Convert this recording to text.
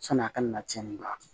Sɔni a kana na tiɲɛni don a la